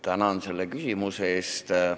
Tänan selle küsimuse eest!